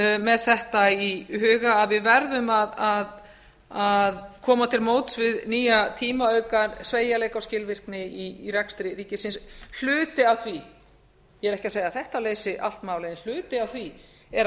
með þetta í huga að við verðum að koma til móts við nýja tíma og auka sveigjanleika og skilvirkni í rekstri ríkisins hluti af því ég er ekki að segja að þetta leysi allt málið en hluti af því er að